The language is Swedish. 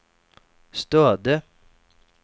Stöde